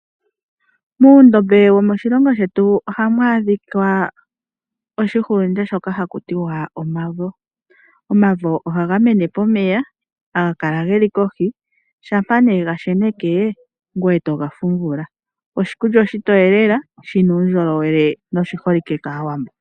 Muundombe womoshilongo shetu ohamu adhika oshihulunde shoka haku tiwa omavo. Omavo ohaga mene pomeya, haga kala geli kohi, shampa nee gasheneke ngoye toga fumvula. Oshikulya oshitoye lela shina uundjolowele noshi holike kaawambo.